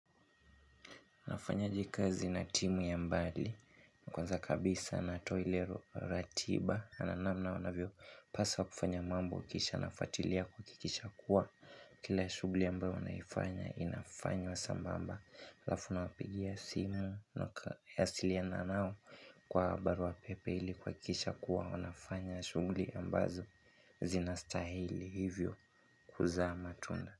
Nafanyaje kazi na timu ya mbali kwanza kabisa natoa ile ratiba na namna wanavyopaswa kufanya mambo kisha nafuatilia kuhakikisha kuwa kila shughuli ambayo wanaifanya inafanywa sambamba halafu nawapigia simu kuwasiliana nao kwa barua pepe ili kuhakisha kuwa wanafanya shughuli ambazo zinastahili hivyo kuzaa matunda.